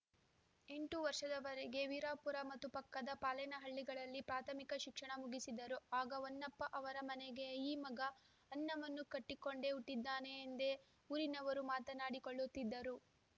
ಎಂಟು ವರ್ಷದವರೆಗೆ ವೀರಾಪುರ ಮತ್ತು ಪಕ್ಕದ ಪಾಲನಹಳ್ಳಿಗಳಲ್ಲಿ ಪ್ರಾಥಮಿಕ ಶಿಕ್ಷಣ ಮುಗಿಸಿದರು ಆಗ ಹೊನ್ನಪ್ಪ ಅವರ ಮನೆಗೆ ಈ ಮಗ ಅನ್ನವನ್ನು ಕಟ್ಟಿಕೊಂಡೇ ಹುಟ್ಟಿದ್ದಾನೆ ಎಂದೇ ಊರಿನವರು ಮಾತನಾಡಿಕೊಳ್ಳುತ್ತಿದ್ದರು